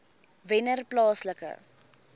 wennerplaaslike